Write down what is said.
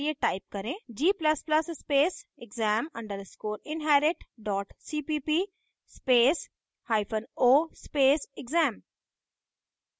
g ++ स्पेसexam _ inherit cpp spaceo space exam